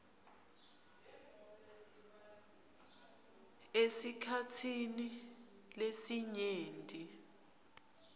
esikhatsini lesinyenti